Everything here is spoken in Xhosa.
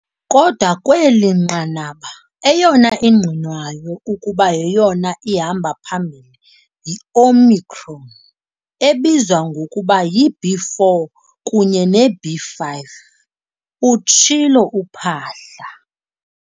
"Kodwa, kweli nqanaba, eyona ingqinwayo ukuba yeyona ihamba phambili yi-Omicron ebizwa ngokuba yi-B.4 kunye ne-B.5," utshilo uPhaahla.